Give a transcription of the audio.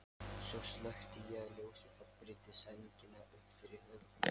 Svo slökkti ég ljósið og breiddi sængina upp fyrir höfuð.